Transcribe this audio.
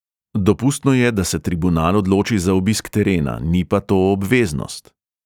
Dopustno je, da se tribunal odloči za obisk terena, ni pa to obveznost.